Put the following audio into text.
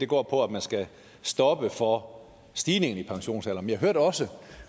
går på at man skal stoppe for stigningen i pensionsalderen men jeg hørte også